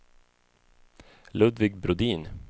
Ludvig Brodin